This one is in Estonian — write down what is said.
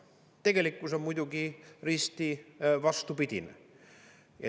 Tegelikkus on muidugi risti vastupidine.